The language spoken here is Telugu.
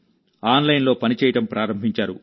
ఆన్లైన్లో పని చేయడం ప్రారంభించారు